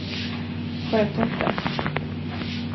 Sjötofta